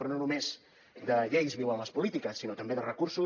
però no només de lleis viuen les polítiques sinó també de recursos